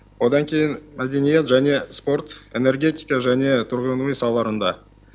одан кейін мәдениет және спорт энергетика және тұрғын үй салаларында